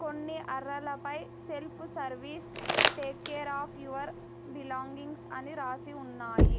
కొన్ని అరలపై self service take care of your belongings అని రాసి ఉన్నాయి.